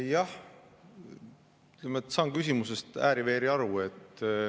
Jah, ma saan küsimusest ääri-veeri aru.